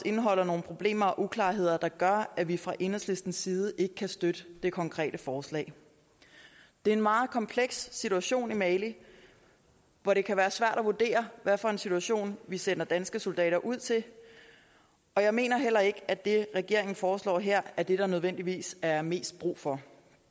indeholder nogle problemer og uklarheder der gør at vi fra enhedslistens side ikke kan støtte det konkrete forslag det er en meget kompleks situation i mali hvor det kan være svært at vurdere hvad for en situation vi sender danske soldater ud til og jeg mener heller ikke at det regeringen foreslår her er det der nødvendigvis er mest brug for